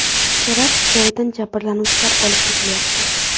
Terakt joyidan jabrlanuvchilar olib ketilyapti.